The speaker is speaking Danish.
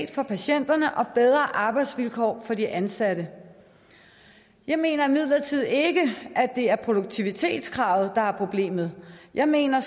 for patienterne og bedre arbejdsvilkår for de ansatte jeg mener imidlertid ikke at det er produktivitetskravet der er problemet jeg mener